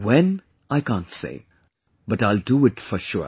WHEN, I can't say, but I'll do it for sure